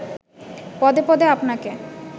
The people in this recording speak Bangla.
পদে পদে আপনাকে